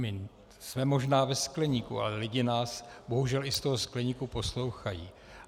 My jsme možná ve skleníku, ale lidé nás bohužel i z toho skleníku poslouchají.